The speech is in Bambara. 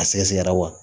A sɛgɛsɛgɛra wa